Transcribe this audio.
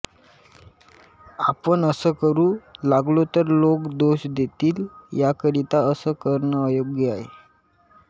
आपण असं करू लागलो तर लोक दोष देतील याकरितां असं करणं अयोग्य आहे